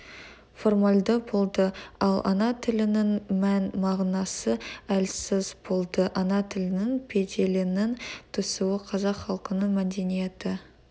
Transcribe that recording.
формальды болды ал ана тілінің мән-мағынасы әлсіз болды ана тілінің беделінің түсуі қазақ халқының мәдениеті